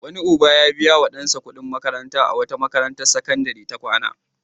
Wani uba ya biya wa ɗansa kuɗin makanta a wata makarantar sakandare ta kwana.